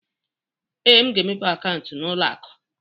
Ee, m ga-emepe akaụntụ n'ụlọ akụ.